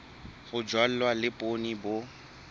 ho jalwa le poone bo